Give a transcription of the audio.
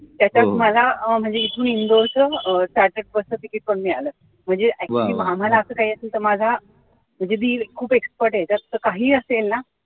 त्याच्यात मला अं म्हणजे इथून इंदोर च ticket पण मिळालं म्हणजे actually आम्हाला असं काही असेल तर माझा म्हणजे दीर खूप expert आहे तो काहीही असेल न